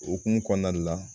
Okumu kɔnɔna de la